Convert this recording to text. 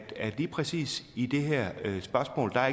lige præcis i det her spørgsmål er